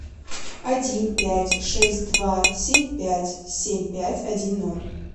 один пять шесть два семь пять семь пять один ноль